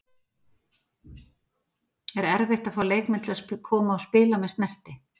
Er erfitt að fá leikmenn til að koma og spila með Snerti?